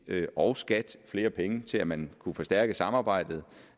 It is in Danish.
og skat flere penge til at man kan forstærke samarbejdet